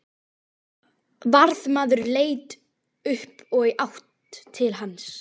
Varðmaður leit upp og í átt til hans.